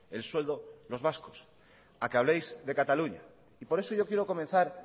el sueldo los vascos a que habléis de cataluña y por eso yo quiero comenzar